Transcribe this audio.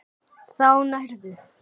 Þá nærðu.